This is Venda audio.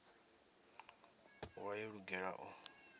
u vha yo lugela u